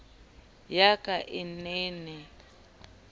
ya ka e ne e